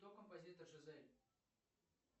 кто композитор жизель